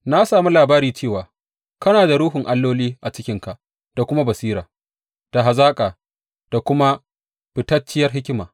Na sami labari cewa kana da ruhun alloli a cikinka da kuma basira, da hazaka da kuma fitacciyar hikima.